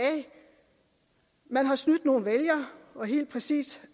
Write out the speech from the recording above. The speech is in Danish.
man har snydt nogle vælgere og helt præcis